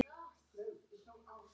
Elsku Gúlli afi.